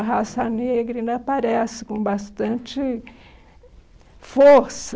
A raça negra ainda aparece com bastante força.